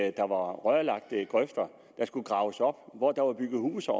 at der var rørlagte grøfter der skulle graves op hvor der var bygget huse